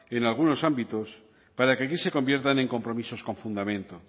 en algunos ámbitos para que aquí se conviertan en compromisos con fundamento